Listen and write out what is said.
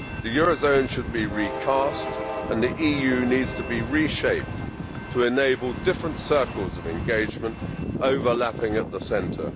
The euro zone should be recast, and the EU needs to be reshaped to enable different circles of engagement overlapping at the centre.